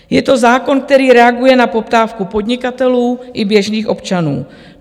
Je to zákon, který reaguje na poptávku podnikatelů i běžných občanů.